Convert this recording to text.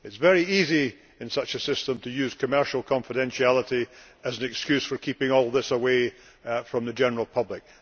It is very easy in such a system to use commercial confidentiality as an excuse for keeping all this away from the general public.